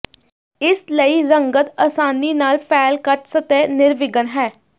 ਇਸ ਲਈ ਰੰਗਤ ਆਸਾਨੀ ਨਾਲ ਫੈਲ ਕੱਚ ਸਤਹ ਨਿਰਵਿਘਨ ਹੈ